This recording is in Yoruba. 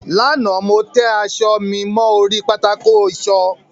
Lánàá, mo tẹ aṣọ mi mọ́ orí pátákó ìṣọ.